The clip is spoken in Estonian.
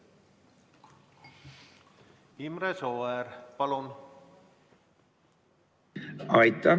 Imre Sooäär, palun!